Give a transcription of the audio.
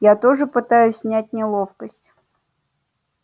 я тоже пытаюсь снять неловкость